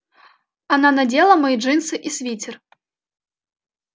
она надела мои джинсы и свитер